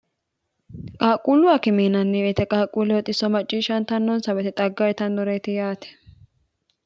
qaaqquullu akimiinanniweite qaaqquulle hoxisso macciishshantannonsa wete xagga itannoreeti yaate